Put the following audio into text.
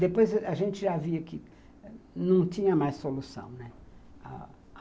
Depois a gente já via que não tinha mais solução, né, a